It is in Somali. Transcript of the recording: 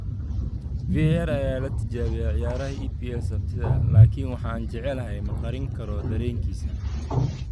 VAR ayaa la tijaabiyaa ciyaaraha EPL Sabtida ''Laakiin waxa aan jecelahay ma qarin karo dareenkiisa."